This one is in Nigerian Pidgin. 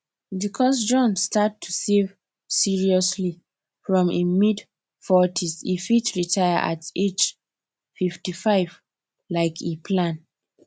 because john start to save seriously from im mid40s e fit retire at age 55 like e plan